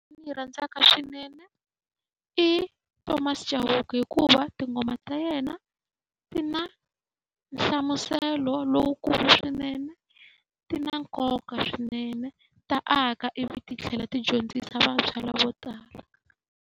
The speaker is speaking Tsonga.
Ndzi yi rhandzaka swinene i Thomas Chauke hikuva tinghoma ta yena ti na nhlamuselo lowukulu swinene, ti na nkoka swinene. Ta aka ivi ti tlhela ti dyondzisa vantshwa lavo tala.